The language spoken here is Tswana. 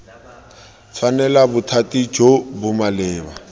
tshwanela bothati jo bo maleba